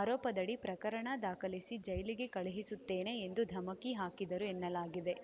ಆರೋಪದಡಿ ಪ್ರಕರಣ ದಾಖಲಿಸಿ ಜೈಲಿಗೆ ಕಳುಹಿಸುತ್ತೇನೆ ಎಂದು ಧಮಕಿ ಹಾಕಿದ್ದರು ಎನ್ನಲಾಗಿದೆ